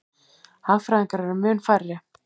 Hagfræðingar eru mun færri.